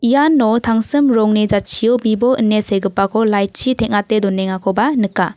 iano tangsim rongni jatchio bibo ine segipako light-chi teng·ate donengakoba nika.